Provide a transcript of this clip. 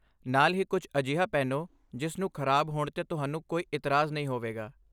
ਨਾਲ ਹੀ, ਕੁਝ ਅਜਿਹਾ ਪਹਿਨੋ ਜਿਸ ਨੂੰ ਖਰਾਬ ਹੋਣ 'ਤੇ ਤੁਹਾਨੂੰ ਕੋਈ ਇਤਰਾਜ਼ ਨਹੀਂ ਹੋਵੇਗਾ!